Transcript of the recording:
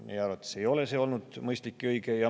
Meie arvates ei ole see olnud mõistlik ega õige.